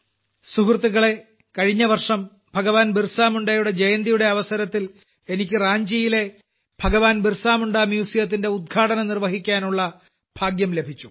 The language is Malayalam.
സുഹൃത്തുക്കളെ കഴിഞ്ഞവർഷം ഭഗവാൻ ബിർസാമുണ്ട ജയന്തിയുടെ അവസരത്തിൽ എനിക്ക് റാഞ്ചിയിലെ ഭഗവാൻ ബിർസാമുണ്ട മ്യൂസിയത്തിന്റെ ഉദ്ഘാടനം നിർവഹിക്കാനുള്ള ഭാഗ്യം ലഭിച്ചു